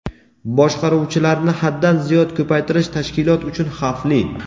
Boshqaruvchilarni haddan ziyod ko‘paytirish tashkilot uchun xavfli.